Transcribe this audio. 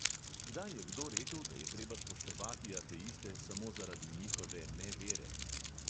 Kdaj je kdo rekel, da je treba spoštovati ateiste samo zaradi njihove nevere?